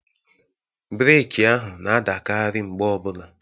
Breeki ahụ na-adakarị mgbe ọbula.